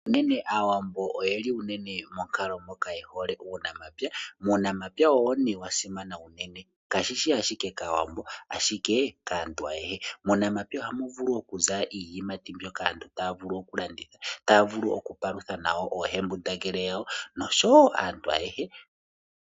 Unene aawambo oyeli unene monkalo moka yehole uunamapya. Uunamapya owo ne wasimana unene, kashishi ashike kaawambo, ihe okaantu ayehe. Muunampya ohamu vulu okuza iiyimati mbyoka aantu taya vulu okulanditha, taya vulu okupalutha nayo oohembundangele yawo, noshowo aantu ayehe.